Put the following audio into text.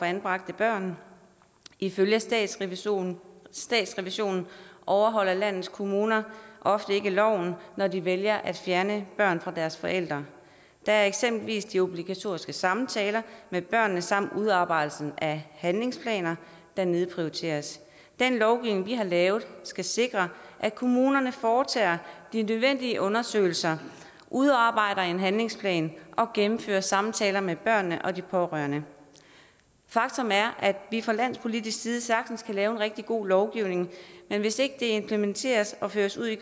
anbragte børn ifølge statsrevisorerne statsrevisorerne overholder landets kommuner ofte ikke loven når de vælger at fjerne børn fra deres forældre det er eksempelvis de obligatoriske samtaler med børnene samt udarbejdelsen af handlingsplaner der nedprioriteres den lovgivning vi har lavet skal sikre at kommunerne foretager de nødvendige undersøgelser udarbejder handlingsplaner og gennemfører samtaler med børnene og de pårørende faktum er at vi fra landspolitisk side sagtens kan lave en rigtig god lovgivning men hvis ikke den implementeres og føres ud i